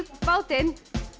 bátinn